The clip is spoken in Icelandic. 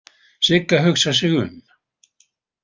Sigga hugsar sig um.